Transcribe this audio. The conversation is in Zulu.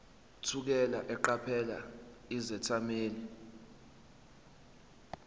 thukela eqaphela izethameli